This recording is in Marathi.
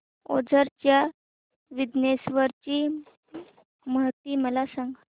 ओझर च्या विघ्नेश्वर ची महती मला सांग